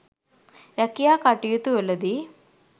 රැකියා කටයුතුවලදී